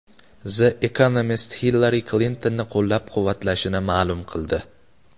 The Economist Hillari Klintonni qo‘llab-quvvatlashini ma’lum qildi.